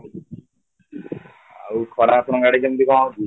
ଆଉ ଖରା ଆପଣଙ୍କ ଆଡେ କେମିତି କ'ଣ ହଉଛି?